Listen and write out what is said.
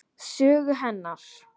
Sögu hennar.